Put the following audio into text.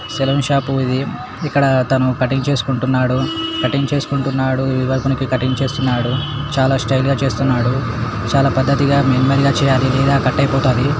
saloon shop ఇది ఇక్కడ తాను కటింగ్ చేసుకుంటున్నాడు కటింగ్ చేసుకుంటున్నాడు కటింగ్ చేస్తున్నాడు చాలా స్టైల్ గా చేస్తున్నాడు చాలా పద్దతిగా నెమ్మదిగా చెయ్యాలి లేకపోతే కట్ అయిపోతాది--